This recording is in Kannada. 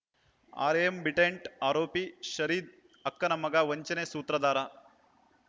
ಆರ್ಯಬಿಟೆಂಟ್‌ ಆರೋಪಿ ಫರೀದ್‌ ಅಕ್ಕನ ಮಗ ವಂಚನೆ ಸೂತ್ರದಾರ